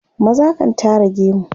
maza kan Tara gemu